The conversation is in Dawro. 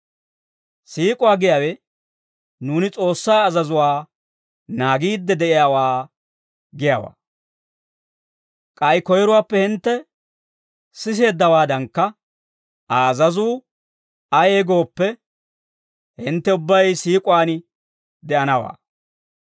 Siik'uwaa giyaawe nuuni S'oossaa azazuwaa naagiidde de'iyaawaa giyaawaa. K'ay koyiruwaappe hintte siseeddawaadankka, Aa azazuu ayee gooppe, hintte ubbay siik'uwaan de'anawaa.